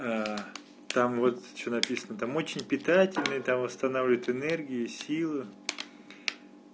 там вот что написано там очень питательный там восстанавливает энергию силы